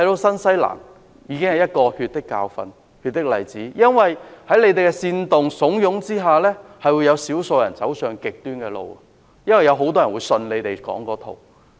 新西蘭已經有一個血的教訓和例子，少數人被煽動和慫恿之下走上極端的路，因為他們相信政客說的那一套。